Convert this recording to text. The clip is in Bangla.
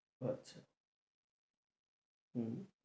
আচ্ছা হম